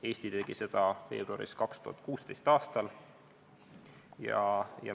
Eesti tegi seda veebruaris 2016.